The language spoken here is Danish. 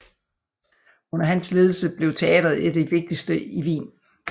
Under hans ledelse blev teatret et af de vigtigste i Wien